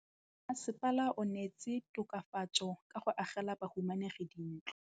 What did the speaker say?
Mmasepala o neetse tokafatsô ka go agela bahumanegi dintlo.